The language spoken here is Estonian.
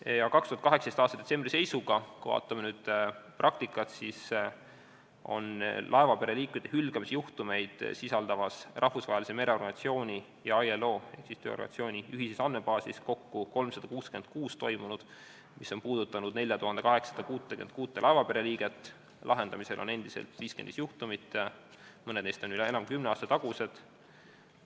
2018. aasta detsembri seisuga, kui vaatame praktikat, oli laevapere liikmete hülgamise juhtumeid sisaldavas Rahvusvahelise Mereorganisatsiooni ja ILO ühises andmebaasis kokku 366 sellist juhtumit, need puudutasid 4866 laevapere liiget, lahendamisel on 55 juhtumit, mõned neist on üle kümne aasta tagused.